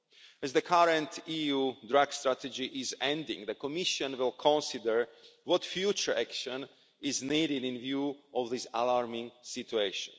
As the current EU drug strategy is ending, the Commission will consider what future action is needed in view of this alarming situation.